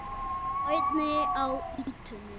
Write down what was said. Árni á ýtunni.